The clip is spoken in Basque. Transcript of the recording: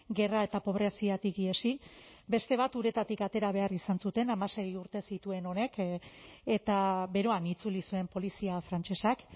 gerra eta pobreziatik ihesi beste bat uretatik atera behar izan zuten hamasei urte zituen honek eta beroan itzuli zuen polizia frantsesak